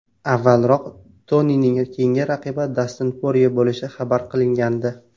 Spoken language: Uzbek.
Avvalroq Tonining keyingi raqibi Dastin Porye bo‘lishi xabar qilingandi .